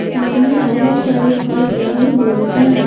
सामने बहुत सारे घर बने हुए हैं।